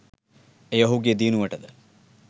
එය ඔහුගේ දියුණුවටද